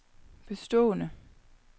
bestående